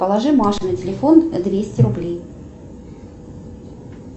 положи маше на телефон двести рублей